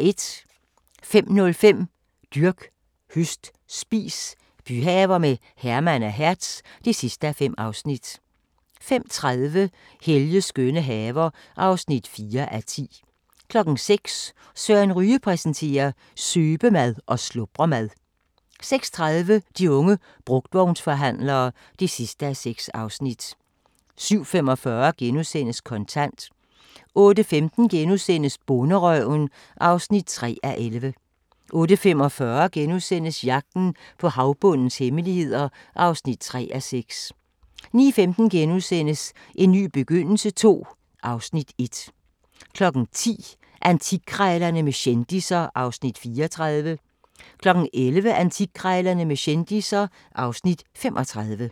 05:05: Dyrk, høst, spis – byhaver med Herman og Hertz (5:5) 05:30: Helges skønne haver (4:10) 06:00: Søren Ryge præsenterer: Søbemad og slubremad 06:30: De unge brugtvognsforhandlere (6:6) 07:45: Kontant * 08:15: Bonderøven (3:11)* 08:45: Jagten på havbundens hemmeligheder (3:6)* 09:15: En ny begyndelse II (Afs. 1)* 10:00: Antikkrejlerne med kendisser (Afs. 34) 11:00: Antikkrejlerne med kendisser (Afs. 35)